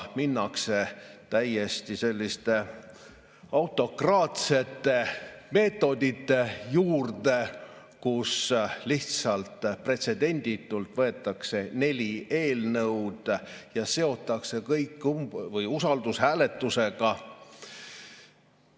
Minnakse täiesti autokraatsete meetodite juurde, lihtsalt pretsedenditult võetakse neli eelnõu ja seotakse kõik usaldushääletusega.